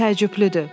Təəccüblüdür.